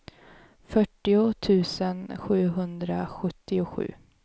fyrtio tusen sjuhundrasjuttiosju